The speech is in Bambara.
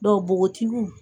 Dɔw bogotigiw